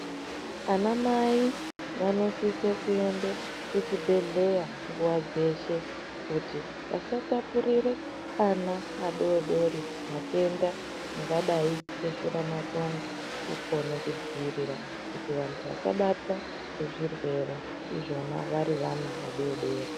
Ana mai vanosisa kuenda kuzvibhehlera nguwa dzeshe kuti vasatapurire vana vadodori matenda angadai ari zveshura matongo kugona kudzivirira kuti vandu vasabatwa nezvirwere izvona vari vana vadodori .